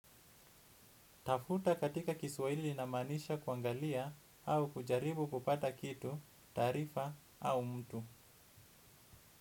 Tafuta katika kiswahili inamaanisha kuangalia au kujaribu kupata kitu, taarifa au mtu.